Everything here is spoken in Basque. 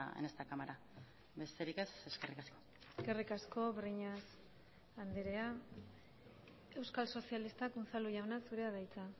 en esta cámara besterik ez eskerrik asko eskerrik asko breñas andrea euskal sozialistak unzalu jauna zurea da hitza